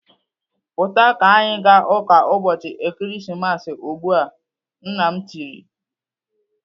"Pụta ka anyị ga ụka ụbọchị Ekeresimesi ugbu a!" Nne m tirii.